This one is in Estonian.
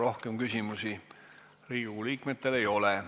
Rohkem küsimusi Riigikogu liikmetel ei ole.